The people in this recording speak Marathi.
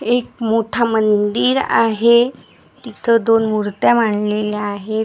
एक मोठा मंदिर आहे तिथं दोन मुर्त्या मांडलेल्या आहेत.